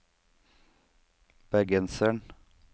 bergenseren